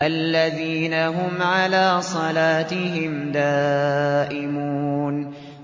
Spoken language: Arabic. الَّذِينَ هُمْ عَلَىٰ صَلَاتِهِمْ دَائِمُونَ